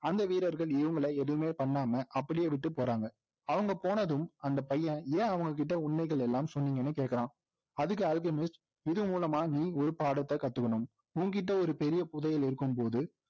அந்த வீரர்கள் இவங்களை எதுவுமே பண்ணாம அப்படியே விட்டு போறாங்க அவங்க போனதும் அந்த பையன் ஏன் அவங்ககிட்ட உண்மைகள் எல்லாம் சொன்னீங்கன்னு கேட்கிறான்அதுக்கு அல்கெமிஸ்ட்இதன்மூலமா நீ ஒரு பாடத்தை கத்துக்கணும் உன்கிட்ட ஒரு பெரிய புதையல் இருக்கும் போது